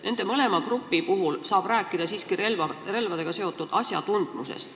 Nende mõlema grupi puhul saab rääkida siiski relvadega seotud asjatundmisest.